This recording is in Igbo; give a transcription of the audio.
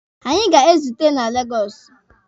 Anyị ga-ezute na Legọsụ